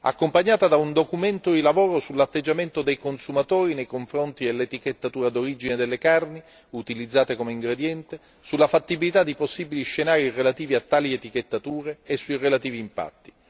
accompagnata da un documento di lavoro sull'atteggiamento dei consumatori nei confronti dell'etichettatura d'origine delle carni utilizzate come ingrediente, sulla fattibilità di possibili scenari relativi a tali etichettature e sui relativi impatti.